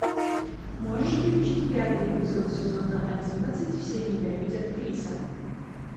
можешь включить пятый эпизод сезона одиннадцать все ненавидят криса